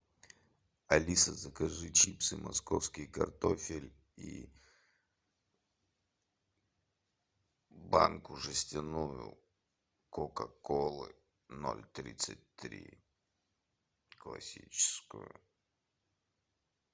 алиса закажи чипсы московский картофель и банку жестяную кока колы ноль тридцать три классическую